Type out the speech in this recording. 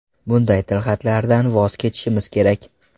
Bunday tilxatlardan voz kechishimiz kerak.